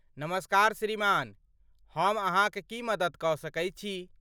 नमस्कार श्रीमान, हम अहाँक की मदति कऽ सकै छी?